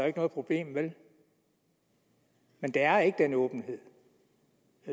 ikke noget problem vel men der er ikke den åbenhed